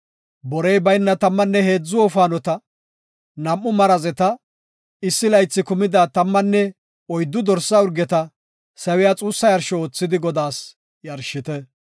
Borey bayna tammanne heedzu wofaanota, nam7u marazeta, issi laythi kumida tammanne oyddu dorsa urgeta sawiya xuussa yarsho oothidi Godaas yarshite.